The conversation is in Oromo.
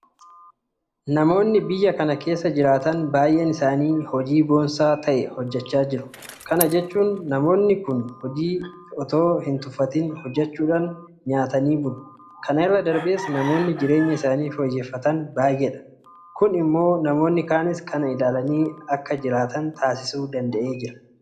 Namoonni biyya kana keessa jiraatan baay'een isaanii hojii boonsaa ta'e hojjechaa jiru. Kana jechuun namoonni kun hojii itoo hintuffatin hojjechuudhaan nyaatanii bulu. Kana irra darbees namoonni jireenya isaanii fooyyeffatan baay'eedha. Kun immoo namoonni kaanis kana ilaalanii akka isaan jiraatan taasisuu danda'eera.